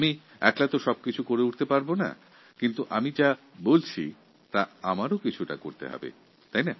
আমি একা তো সব কিছু করতে পারবো না কিন্তু যেটা আমি বলছি সেটা আমারও তো করা উচিত